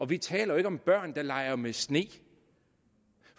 vi taler jo ikke om børn der leger med sne